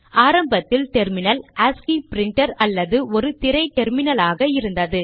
ஆரம்பத்தில் terminal ASCII printer அல்லது ஒரு திரை டெர்மினலாக இருந்தது